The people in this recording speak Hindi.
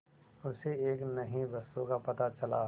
उसे एक नई वस्तु का पता चला